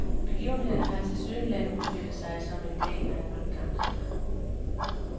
Begivenhederne har tilsyneladende udspillet sig som en del af en magtkamp.